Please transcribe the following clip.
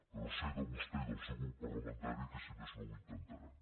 però sé de vostè i del seu grup parlamentari que si més no ho intentaran